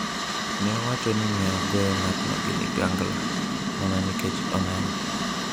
"Ne owacho ni ne ogoyo ng'atno gi ligangla ""mana nikech oneno"".